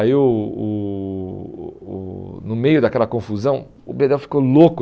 Aí o o o o, no meio daquela confusão, o bedel ficou louco.